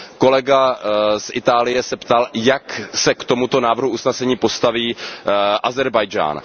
Kolega z Itálie se ptal, jak se k tomuto návrhu usnesení postaví Ázerbájdžán.